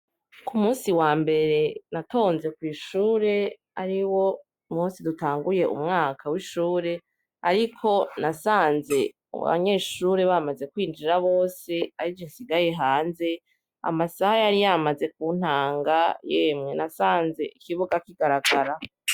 Ku musi wa mbere natonze kw'ishure ari wo musi dutanguye umwaka w'ishure, ariko nasanze abanyeshure bamaze kwinjira bose ari je insigaye hanze amasaha yari yamaze ku ntanga yemwe nasanze ikibuga kigaragara.